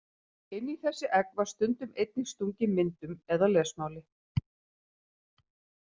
Inn í þessi egg var stundum einnig stungið myndum eða lesmáli.